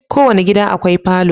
Kowane gida akwai falo